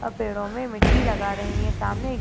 अ पेड़ों में मिट्टी लगा रही है सामने।